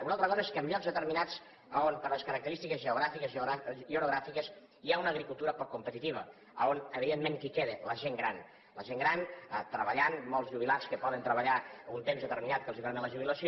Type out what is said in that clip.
una altra cosa és que en llocs determinats on per les característiques geogràfiques i orogràfiques hi ha una agricultura poc competitiva on evidentment qui queda la gent gran la gent gran treballant molts jubilats que poden treballar un temps determinat que els permet la jubilació